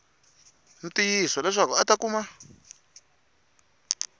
ntiyiso leswaku a ta kuma